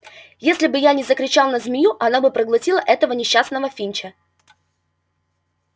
если бы я не закричал на змею она бы проглотила этого несчастного финча